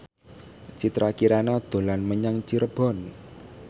Citra Kirana dolan menyang Cirebon